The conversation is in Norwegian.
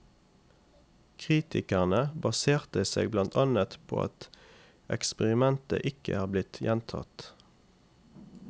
Kritikerne baserte seg blant annet på at eksperimentet ikke er blitt gjentatt.